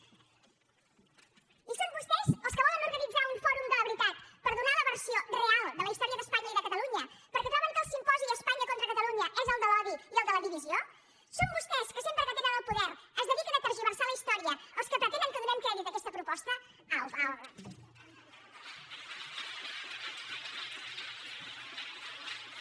i són vostès els que volen organitzar un fòrum de la veritat per donar la versió real de la història d’espanya i de catalunya perquè troben que el simposi espanya contra catalunya és el de l’odi i el de la divisió són vostès que sempre que tenen el poder es dediquen a tergiversar la història els que pretenen que donem crèdit a aquesta proposta au va home